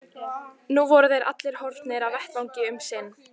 Nú voru þeir allir horfnir af vettvangi um sinn.